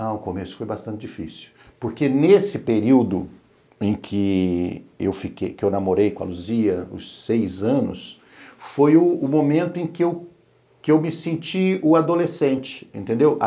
Ah, o começo foi bastante difícil, porque nesse período em que eu fiquei que eu namorei com a Luzia, os seis anos, foi o momento em que eu que eu me senti o adolescente, entendeu?